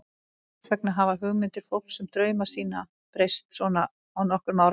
Hvers vegna hafa hugmyndir fólks um drauma sína breyst svona á nokkrum áratugum?